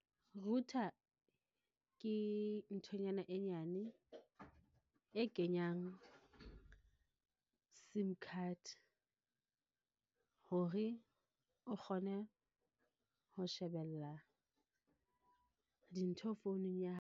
Router ke nthonyana e nyane e kenyang SIM card hore o kgone ho shebella dintho founung ya hao.